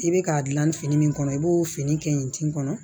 I bɛ k'a dilan ni fini min kɔnɔ i b'o fini kɛ yen tin kɔnɔ